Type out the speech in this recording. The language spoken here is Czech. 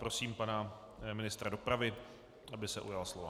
Prosím pana ministra dopravy, aby se ujal slova.